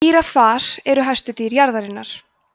gíraffar eru hæstu dýr jarðarinnar